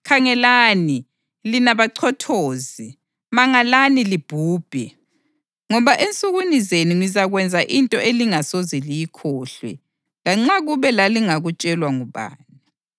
‘Khangelani, lina bachothozi, mangalani libhubhe, ngoba ensukwini zenu ngizakwenza into elingasoze liyikholwe lanxa kube lalingakutshelwa ngubani.’ + 13.41 UHabhakhukhi 1.5”